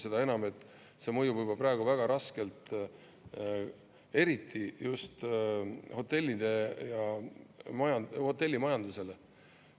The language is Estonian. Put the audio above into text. Seda enam, et see mõjub juba praegu väga raskelt, eriti just hotellidele ja hotellimajandusele.